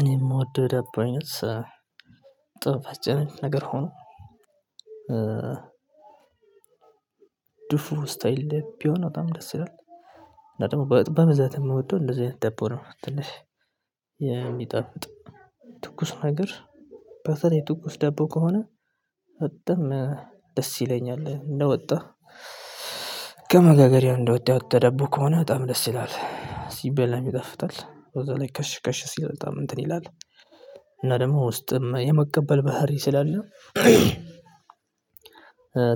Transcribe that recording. እኔ የምወደው የዳቦ አይነት ጣፋጭ አይነት ነገር ሁኖ ድፎ ስታይል ቢሆን በጣም ደስ ይላል። እና ደግሞ በብዛት የምወደው እንደዚህ አይነት ደቦ ነው የምትልሽ የሚጠፍጥ ትኩስ ነገር። በተለይ ትኩስ ደቦ ከሆነ ደስ ይለኛል። እንደወጣሁ ከመጋገሪያ እንደወጣ የወጣ ዳቦ ከሆነ በጣም ደስ ይላል። ሲበላም ይጣፍጣል እዛ ላይ ከሽ ከሽ ሲል በጣም እንትን ይላል። እና ደግሞ ውስጥም የመቀበል ባህሪ ስላለ